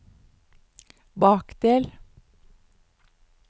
bakdel